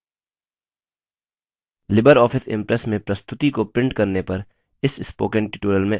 libreoffice impress में प्रस्तुति को प्रिंट करने पर इस spoken tutorial में आपका स्वागत है